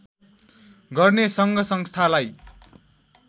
गर्ने सङ्घ संस्थालाई